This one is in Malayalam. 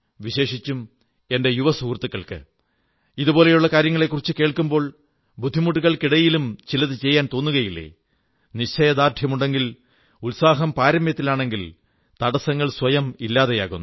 വിശേഷിച്ചും എന്റെ യുവ സുഹൃത്തുക്കൾക്ക് ഇതുപോലുള്ള കാര്യങ്ങളെക്കുറിച്ചു കേൾക്കുമ്പോൾ ബുദ്ധിമുട്ടുകൾക്കിടയിലും ചിലതു ചെയ്യാൻ തോന്നുകയില്ലേ നിശ്ചയദാർഢ്യമുണ്ടെങ്കിൽ ഉത്സാഹം പാരമ്യത്തിലാണെങ്കിൽ തടസ്സങ്ങൾ സ്വയം ഇല്ലാതെയാകുന്നു